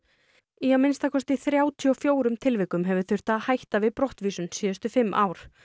í að minnsta kosti þrjátíu og fjórum tilvikum hefur þurft að hætta við brottvísun síðustu fimm ár